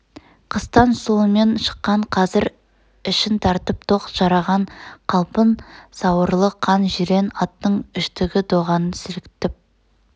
қыстан сұлымен шыққан қазір ішін тартып тоқ жараған қалың сауырлы қан жирен аттың үштігі доғаны сіліктіп